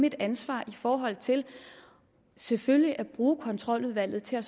et ansvar i forhold til selvfølgelig at bruge kontroludvalget til at